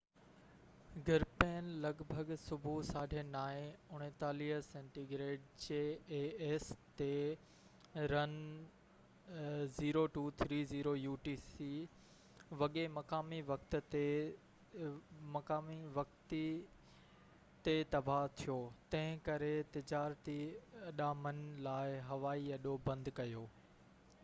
jas 39c Gripen لڳ ڀڳ صبح 9:30 وڳي مقامي وقت 0230 utc تي رن وي تي تباه ٿيو، تنهن ڪري تجارتي اڏامن لاءِ هوائي اڏو بند ڪيو